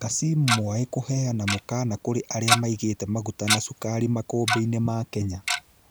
Kassim Mwaĩ kũveana mũkana kũrĩ arĩa maigite maguta na cukari makũmbĩ-inĩ ma Kenya